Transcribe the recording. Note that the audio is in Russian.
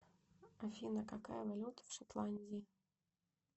афина какая валюта в шотландии